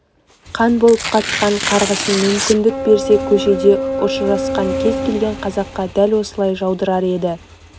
қан болып қатқан қарғысын мүмкіндік берсе көшеде ұшырасқан кез келген қазаққа дәл осылай жаудырар еді